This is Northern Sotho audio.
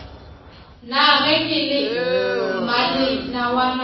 na ge ke le mmalenawana